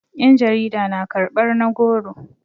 yan jarida na karbar na goro